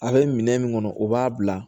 A bɛ minɛn min kɔnɔ o b'a bila